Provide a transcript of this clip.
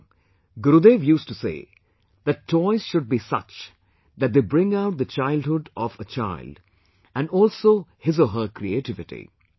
Therefore, Gurudev used to say that, toys should be such that they bring out the childhood of a child and also his or her creativity